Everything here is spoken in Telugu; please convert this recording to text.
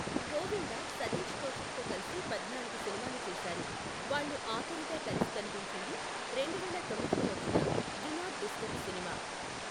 గోవిందా సతీష్ కౌశిక్తో కలిసి పద్నాలుగు సినిమాలు చేసారు, వాళ్ళు ఆఖరిగా కలిసి కనిపించింది రెండువేల తొమ్మిదిలో వచ్చిన డు నాట్ డిస్టర్బ్ సినిమా.